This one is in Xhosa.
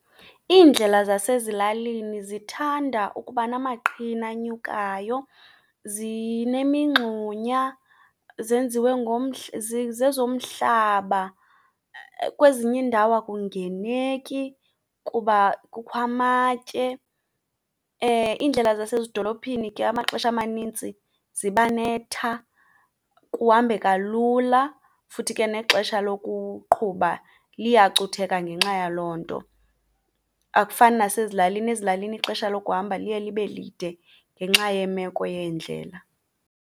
Iindlela zasezilalini zithanda ukuba namaqhina anyukayo zinemingxunya zenziwe zezomhlaba. Kwezinye iindawo akungeneki kuba kukho amatye. Iindlela zasezidolophini ke amaxesha amanintsi ziba netha kuhambeka lula futhi ke nexesha lokuqhuba liyacutheka ngenxa yaloo nto. Akufani nasezilalini, ezilalini ixesha lokuhamba liye libe lide ngenxa yemeko yeendlela.